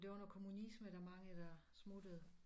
Det var noget kommunisme der er mange der smuttede